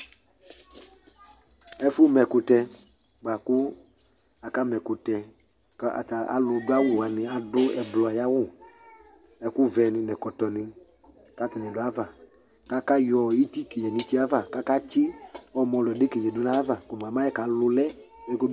ɛƒʋ ma ɛkʋtɛ kpaa kʋ aka ma ɛkʋtɛ kʋ alʋ dʋ awʋ wani atabi adʋ ɛblɔ ayiawʋ ɛkʋ vɛ ni nʋ ɛkɔtɔ ni kʋ atani dʋ aɣa kʋ aka yɔ itikilɛ nʋ ʋtiɛ aɣa kʋ aka tsi ɔmɔlɔ dʋbʋ aɣa kɔ mʋa